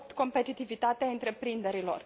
8 competitivitatea întreprinderilor.